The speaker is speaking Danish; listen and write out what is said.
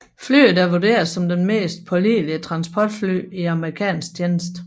Flyet er vurderet som det mest pålidelige transportfly i amerikansk tjeneste